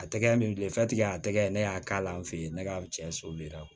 A tɛgɛ min filɛ a tɛgɛ ne y'a k'a la n fɛ yen ne ka cɛ